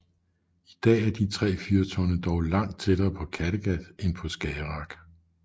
I dag er de tre fyrtårne dog langt tættere på Kattegat end på Skagerrak